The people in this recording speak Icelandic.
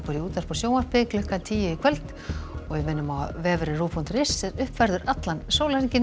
í útvarpi og sjónvarpi klukkan tíu í kvöld en við minnum á að vefurinn ruv punktur is er uppfærður allan sólarhringinn